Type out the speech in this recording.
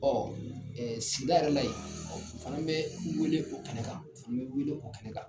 sigida yɛrɛ la ye, an bɛ weele o kɛnɛ kan. An bɛ weele o kɛnɛ kan.